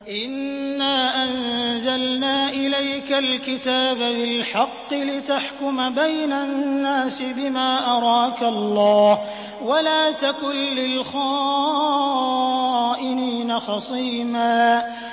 إِنَّا أَنزَلْنَا إِلَيْكَ الْكِتَابَ بِالْحَقِّ لِتَحْكُمَ بَيْنَ النَّاسِ بِمَا أَرَاكَ اللَّهُ ۚ وَلَا تَكُن لِّلْخَائِنِينَ خَصِيمًا